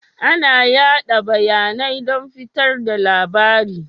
Ana yada bayanai don fitar da labarai.